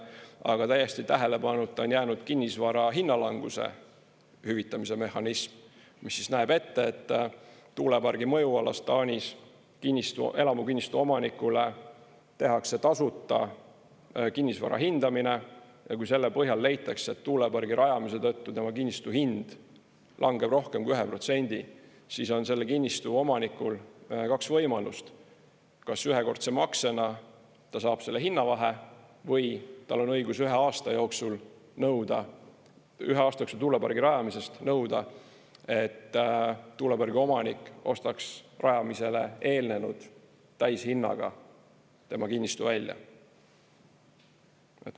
Aga täiesti tähelepanuta on jäänud kinnisvara hinna languse hüvitamise mehhanism, mis näeb ette, et tuulepargi mõjualas Taanis elamukinnistu omanikule tehakse tasuta kinnisvara hindamine ja kui selle põhjal leitakse, et tuulepargi rajamise tõttu tema kinnistu hind langeb rohkem kui 1%, siis on selle kinnistu omanikul kaks võimalust: kas ühekordse maksena ta saab selle hinnavahe või tal on õigus ühe aasta jooksul nõuda – ühe aasta jooksul tuulepargi rajamisest –, et tuulepargi omanik ostaks rajamisele eelnenud täishinnaga tema kinnistu välja.